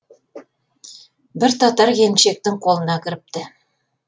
бір татар келіншектің қолына кіріпті